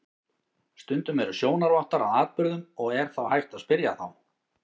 Stundum eru sjónarvottar að atburðum og er þá hægt að spyrja þá.